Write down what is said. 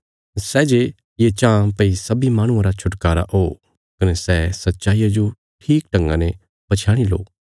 सै जे ये चांह भई सब्बीं माहणुआं रा छुटकारा हो कने सै सच्चाईया जो ठीकढंगा ने पछयाणी लो